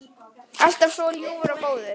Alltaf svo ljúfur og góður.